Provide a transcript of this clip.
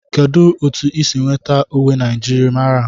Kedụ otu isi nweta uwe njirimara a?